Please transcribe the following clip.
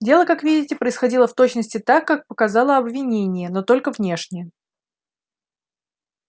дело как видите происходило в точности так как показало обвинение но только внешне